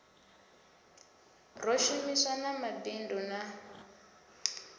ro shumisana na mabindu na